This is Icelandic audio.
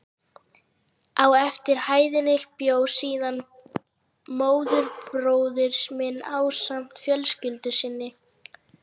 Á efri hæðinni bjó síðan móðurbróðir minn ásamt fjölskyldu sinni.